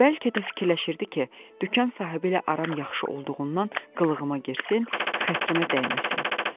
Bəlkə də fikirləşirdi ki, dükan sahibi ilə aram yaxşı olduğundan qılığıma girsin, xətrimə dəyməsin.